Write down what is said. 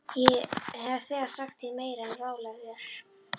Ég hef þegar sagt þér meira en ráðlegt er.